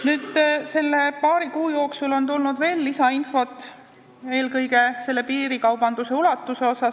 Nende paari kuu jooksul on tulnud veel lisainfot, eelkõige piirikaubanduse ulatuse kohta.